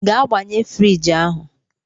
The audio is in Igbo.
Gaa gbanye friji ahụ!